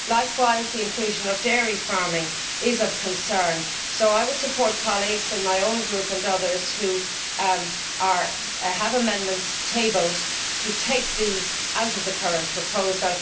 Likewise, the inclusion of dairy farming is of concern, and I would support colleagues in my own group, and others, who have tabled amendments to take these sectors out of the current proposal.